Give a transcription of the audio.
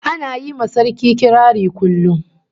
Ana yi ma Sarki kirari kullum